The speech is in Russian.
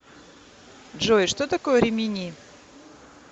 джой что такое римини